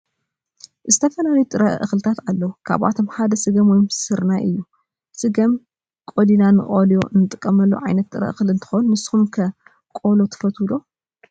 ዝትፈላለዩ ጥረ እክልታት አለው ካብአቶም ሓደ ስገም ወይ ሰርናይ እዩ። ስገም ቀሊና ንቆሎ እንጥቀመሉ ዓይነት ጥረ እክሊ እንትኮን ንስኩም ከ ቆሎትፈትዉ ዶ?